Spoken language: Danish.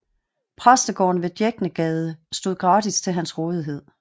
Præstegården ved Djæknegade stod gratis til hans rådighed